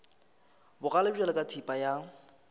bogale bjalo ka thipa ya